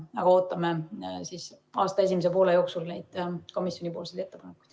Me ootame aasta esimese poole jooksul neid komisjoni ettepanekuid.